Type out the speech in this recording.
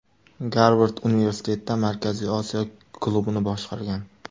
Garvard Universitetida Markaziy Osiyo klubini boshqargan.